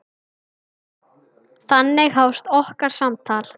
Þannig hófst okkar samtal.